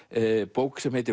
bók sem heitir